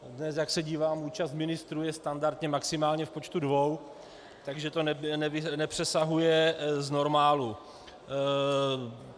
Dnes, jak se dívám, účast ministrů je standardně maximálně v počtu dvou, takže to nepřesahuje z normálu.